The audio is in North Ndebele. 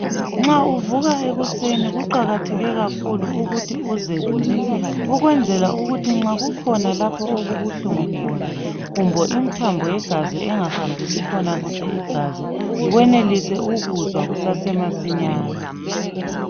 Nxa uvuka ekuseni kuqakathekile kakhulu ukuthi uzelule ukwenzela ukuthi nxa kukhona lapho okubuhlungu khona kumbe imthambo yegazi engahambisi khona igazi yenelise ukuzwa kusase masinyane.